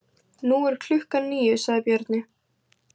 Nú er klukkan níu, sagði Bjarni.